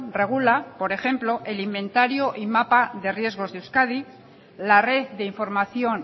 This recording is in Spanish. regula por ejemplo el inventario y mapa de riesgos de euskadi la red de información